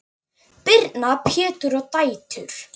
Birna, Pétur og dætur.